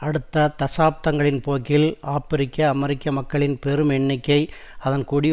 அடுத்த தசாப்தங்களின் போக்கில் ஆப்பிரிக்கஅமெரிக்க மக்களின் பெரும் எண்ணிக்கை அதன் குடி